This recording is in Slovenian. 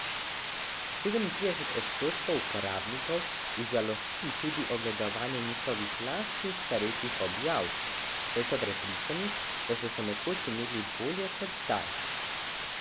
Sedemintrideset odstotkov uporabnikov užalosti tudi ogledovanje njihovih lastnih starejših objav, saj so prepričani, da so se nekoč imeli bolje kot zdaj.